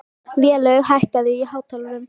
Vélaug, hækkaðu í hátalaranum.